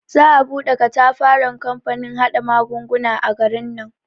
Za a bude katafaren kamfanin haɗa magunguna a garin nan.